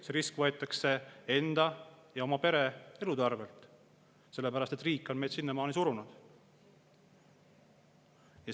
See risk võetakse enda ja oma pere elu arvelt, sellepärast et riik on neid sinnamaani surunud.